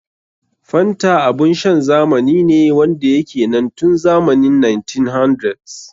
Fanta abun shan zamani ne wanda ya ke nan tun zamani 1900s.